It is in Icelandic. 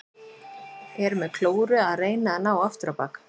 Er með klóru að reyna að ná aftur á bak.